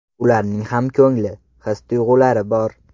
Ularning ham ko‘ngli, his tuyg‘ulari bor.